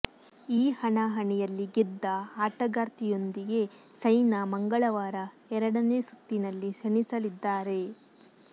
ಈ ಹಣಾಹಣಿ ಯಲ್ಲಿ ಗೆದ್ದ ಆಟಗಾರ್ತಿಯೊಂದಿಗೆ ಸೈನಾ ಮಂಗಳವಾರ ಎರಡನೇ ಸುತ್ತಿನಲ್ಲಿ ಸೆಣಸಲಿದ್ದಾರೆ